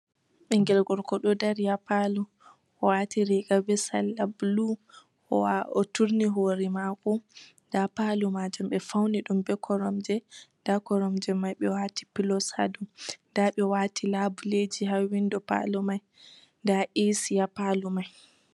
Ɓingel gorgo ɗo dari haa paalo. O waati riiga be salla blu. O turni hoore maako, nda paalo majum ɓe fauni ɗum be koromje. Nda koromje mai ɓe waati pilos ha dou. Nda ɓe waati laabuleji ha windo paalo mai, nda eesi haa paalo mai.